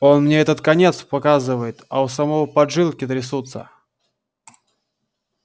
он мне этот конец показывает а у самого поджилки трясутся